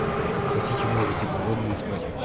а вы как хотите можете голодные спать